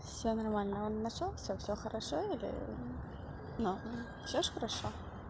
всё нормально он нашёлся всё хорошо или но всё ж хорошо